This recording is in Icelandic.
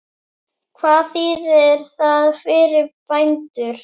Hvað þýðir það fyrir bændur?